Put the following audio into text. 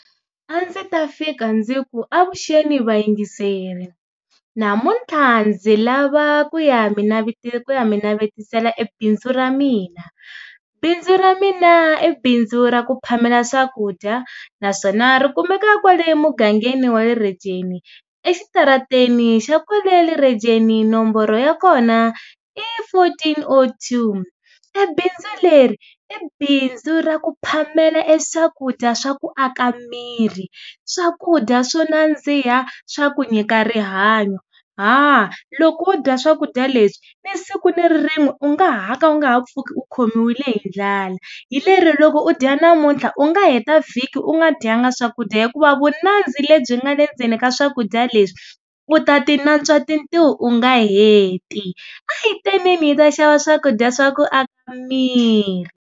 A ndzi ta fika ndzi ku avuxeni vayingiseri, namuntlha ndzi lava ku ya mi ku ya mi navetisela bindzu ra mina. Bindzu ra mina i bindzu ra ku phamela swakudya naswona rikumeka kwale emugangeni wa le Rejeni exitarateni xa kwale Rejeni nomboro ya kona i fourteen oh two. Ebindzu leri i bindzu ra ku phamela e swakudya swa ku aka miri, swakudya swo nandziha swa ku nyika rihanyo. Haa, loko wo dya swakudya leswi ni siku ni rin'we u nga ha ka u nga ha pfuki u khomile hi dlala. Hi lero loko u dya namuntlha u nga heta vhiki u nga dyanga swakudya hikuva vu nandzi lebyi nga le ndzeni ka swakudya leswi u ta ti natswa tintiho u nga heti. A hi teneni hi ta xava swakudya swa ku aka miri.